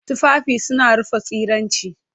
Tufafi suna rufe tsiraici.